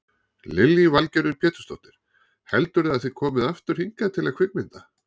Lillý Valgerður Pétursdóttir: Heldurðu að þið komið aftur hingað til að kvikmynda?